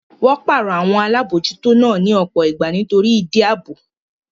Wọ́n pàrọ̀ àwọn Alábòójútó náà ní ọ̀pọ̀ ìgbà nítorí ìdí ààbò